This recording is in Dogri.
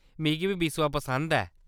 मिगी बी बिस्वा पसंद ऐ।